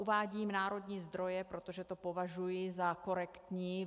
Uvádím národní zdroje, protože to považuji za korektní.